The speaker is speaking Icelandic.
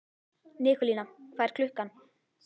Nikólína, hvað er klukkan?